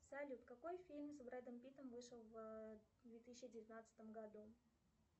салют какой фильм с брэдом питтом вышел в две тысячи девятнадцатом году